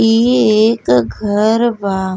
इये एक घर बा।